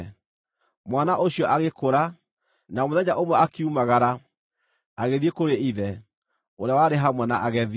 Mwana ũcio agĩkũra, na mũthenya ũmwe akiumagara, agĩthiĩ kũrĩ ithe, ũrĩa warĩ hamwe na agethi.